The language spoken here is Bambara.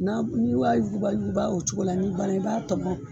N'a n'i wa yuguba yuguba o cogo la n'i banna i b'a tɔmɔ